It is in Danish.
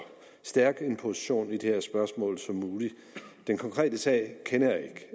stærk position i det her spørgsmål som muligt den konkrete sag kender jeg